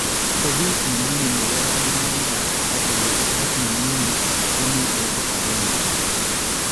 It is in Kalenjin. Obiis neming�in nebo kayuumanikaab katoliik ak nemng�in ko mi olda akenke